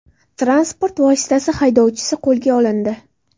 Transport vositasi haydovchisi qo‘lga olindi.